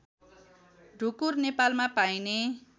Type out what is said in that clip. ढुकुर नेपालमा पाइने